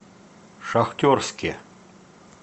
шахтерске